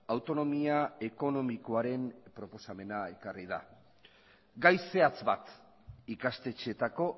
autonomia ekonomikoaren proposamena ekarri da gai zehatz bat ikastetxeetako